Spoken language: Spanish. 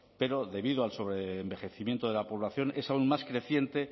pero debido al sobreenvejecimiento de la población es aún más creciente